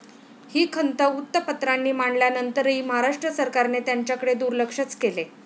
ही खंत वृत्तपत्रांनी मांडल्यानंतरही महाराष्ट्र सरकारने त्यांच्याकडे दुर्लक्षच केले.